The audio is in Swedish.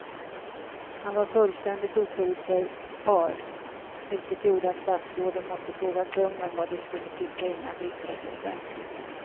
Han var fullständigt oförutsägbar vilket gjorde att statsråden måste fråga kungen vad de skulle tycka innan de yttrade sig offentligt.